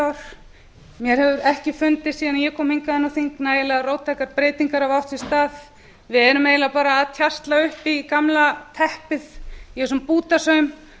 ár mér hefur ekki fundist síðan ég kom hingað inn á þing að nægilega róttækar breytingar hafi átt sér stað við erum eiginlega bara að tjasla upp í gamla teppið í þessum bútasaum